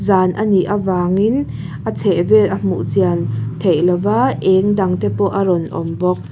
anih avangin a chheh vel a hmuh chian theih lo va eng dang te pawh a rawn awm bawk. bawk.